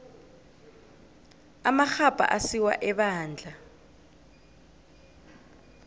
amarhabha asiwa ebandla